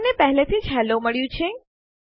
આપણને પહેલેથી જ હેલ્લો મળ્યું છે